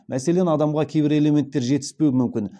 мәселен адамға кейбір элементтер жетіспеуі мүмкін